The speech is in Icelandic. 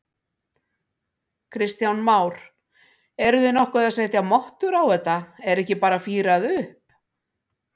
Kristján Már: Eruð þið nokkuð að setja mottur á þetta, er ekki bara fírað upp?